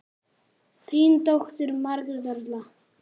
Þín dóttir, Margrét Erla.